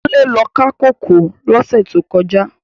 Kunle lò ká kókòó lòsè tókòjá